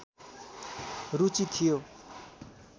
रुचि थियो